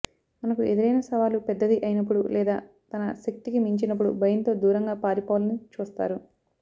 మనకు ఎదురైన సవాలు పెద్దది అయినపుడు లేదా తన శక్తికి మించినపుడు భయంతో దూరంగా పారిపోవాలని చూస్తారు